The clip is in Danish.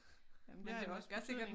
Ah men det har jo også betydning